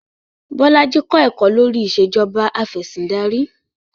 Bolaji kọ̀ ẹ̀kọ́ lórí Ìṣèjọba Afẹ̀sìndarí